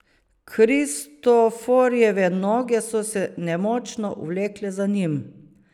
Kristoforjeve noge so se nemočno vlekle za njim.